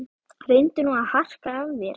Reyndu nú að harka af þér